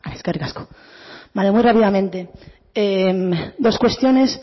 eskerrik asko muy brevemente dos cuestiones